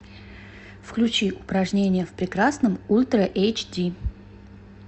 включи упражнения в прекрасном ультра эйч ди